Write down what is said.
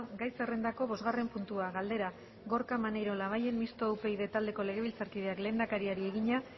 gai zerrendako bosgarren puntua galdera gorka maneiro labayen mistoa upyd taldeko legebiltzarkideak lehendakariari egina